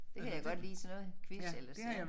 Det kan jeg godt lide sådan noget quiz ellers